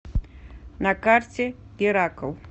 на карте геракл